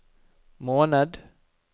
måned